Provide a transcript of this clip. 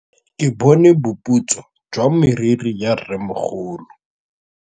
Ke bone boputswa jwa meriri ya rrêmogolo.